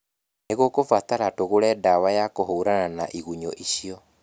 Nĩ gũkũbatara tũgũre ndawa ya kũhũrana na igunyũ icio